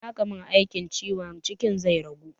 In aka min aikin ciwon cikin zai ragu?